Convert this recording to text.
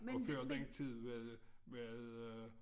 Og før den tid var det var det øh